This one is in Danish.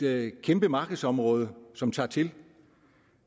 er et kæmpe markedsområde som tager til